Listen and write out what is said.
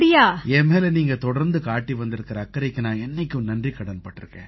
என் மேல நீங்க தொடர்ந்து காட்டி வந்திருக்கற அக்கறைக்கு நான் என்னைக்கும் நன்றிக்கடன் பட்டிருக்கேன்